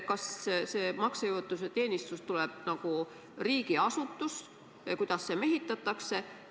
Kas see maksejõuetuse teenistus tuleb nagu riigiasutus ja kuidas see mehitatakse?